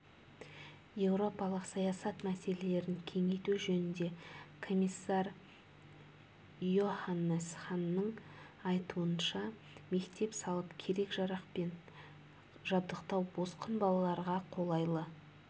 еуропалық саясат мәселелерін кеңейту жөніндегі комиссар йоханнес ханның айтуынша мектеп салып керек-жарақпен жабдықтау босқын балаларға қолайлы